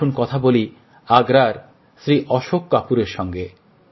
আসুন কথা বলি আগ্রার শ্রী অশোক কপুরের সঙ্গে